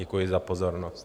Děkuji za pozornost.